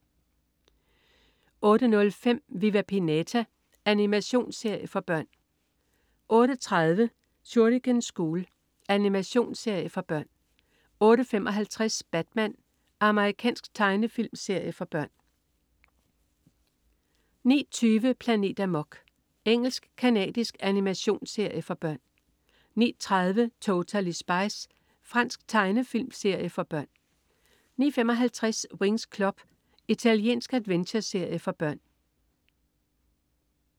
08.05 Viva Pinata. Animationsserie for børn 08.30 Shuriken School. Animationsserie for børn 08.55 Batman. Amerikansk tegnefilmserie for børn 09.20 Planet Amok. Engelsk-canadisk animationsserie for børn 09.30 Totally Spies. Fransk tegnefilm for børn 09.55 Winx Club. Italiensk adventureserie for børn